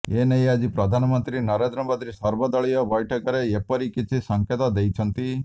ଏନେଇ ଆଜି ପ୍ରଧାନମନ୍ତ୍ରୀ ନରେନ୍ଦ୍ର ମୋଦି ସର୍ବଦଳୀୟ ବୈଠକରେ ଏପରି କିଛି ସଙ୍କେତ ଦେଇଛନ୍ତି